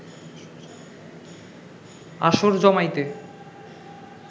আসর জমাইতে